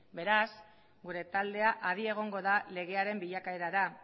beraz gure taldea adi egongo da legearen bilakaerara